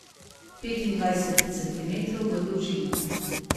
Petindvajset centimetrov v dolžino.